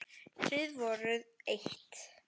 Þið voruð eitt.